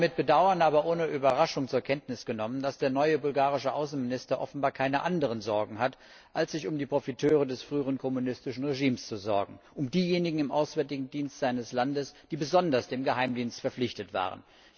Ich habe mit Bedauern, aber ohne Überraschung zur Kenntnis genommen, dass der neue bulgarische Außenminister offenbar keine anderen Sorgen hat, als sich um die Profiteure des früheren kommunistischen Regimes zu sorgen, also um diejenigen im auswärtigen Dienst seines Landes, die besonders dem Geheimdienst verpflichtet waren.